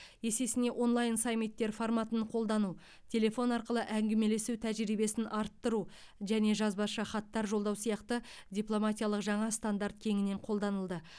есесіне онлайн саммиттер форматын қолдану телефон арқылы әңгімелесу тәжірибесін арттыру және жазбаша хаттар жолдау сияқты дипломатиялық жаңа стандарт кеңінен қолданылды